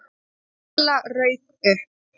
Lilla rauk upp.